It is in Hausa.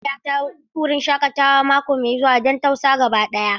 Zan kai mahaifiyata wurin shakatawa mako mai zuwa don tausa gaba daya.